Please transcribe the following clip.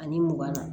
Ani mugan na